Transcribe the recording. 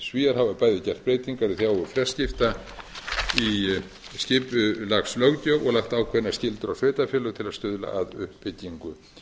svíar hafa bæði gert breytingar í þágu fjarskipta í skipulagslöggjöf og lagt ákveðnar skyldur á sveitarfélög til að stuðla að uppbyggingu